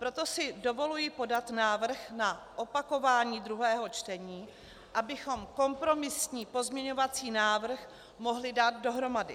Proto si dovoluji podat návrh na opakování druhého čtení, abychom kompromisní pozměňovací návrh mohli dát dohromady.